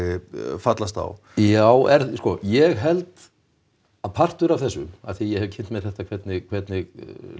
fallast á já sko ég held að partur af þessu af því að ég hef kynnt mér þetta hvernig hvernig